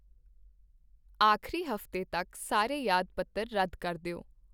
ਆਖਰੀ ਹਫ਼ਤੇ ਤੱਕ ਸਾਰੇ ਯਾਦ ਪੱਤਰ ਰੱਦ ਕਰ ਦਿਓ